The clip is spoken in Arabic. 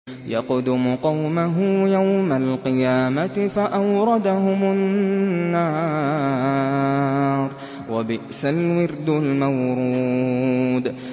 يَقْدُمُ قَوْمَهُ يَوْمَ الْقِيَامَةِ فَأَوْرَدَهُمُ النَّارَ ۖ وَبِئْسَ الْوِرْدُ الْمَوْرُودُ